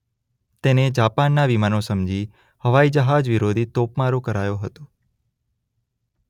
તેને જાપાનના વિમાનો સમજી હવાઇજહાજવિરોધી તોપમારો કરાયો હતો.